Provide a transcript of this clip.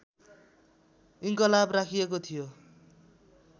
इन्कलाब राखिेएको थियो